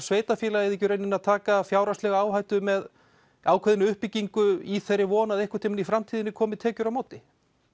sveitarfélagið ekki í rauninni að taka fjárhagslega áhættu með ákveðna uppbyggingu í þeirri von að einhvern tímann í framtíðinni komi tekjur á móti